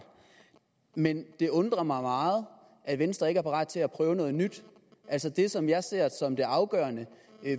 men det undrer mig meget at venstre ikke er parat til at prøve noget nyt altså det som jeg ser som det afgørende